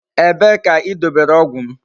Ebe ka I dobere ogwu m?